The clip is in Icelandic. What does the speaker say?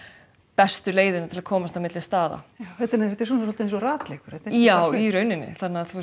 bestu leiðina til að komast á milli staða þetta er svolítið eins og ratleikur já í rauninni